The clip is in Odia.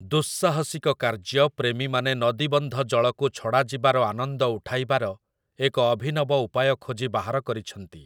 ଦୁଃସାହସିକ କାର୍ଯ୍ୟ ପ୍ରେମୀମାନେ ନଦୀବନ୍ଧ ଜଳକୁ ଛଡ଼ା ଯିବାର ଆନନ୍ଦ ଉଠାଇବାର ଏକ ଅଭିନବ ଉପାୟ ଖୋଜି ବାହାର କରିଛନ୍ତି ।